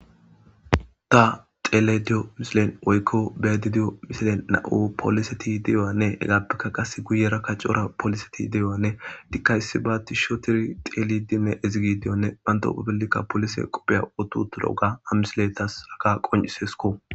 ta tele diyo misilen woykko bedidiyo misilen na7u pooliseti de7oyanne hegaappekka qasse guyera ka cora pooliseti deyowanne dikkayssi baatti shootiri xelidinne izigidiyonne banto pabellikka polise qopheya otu tolooga amisiletas raka qoncisesko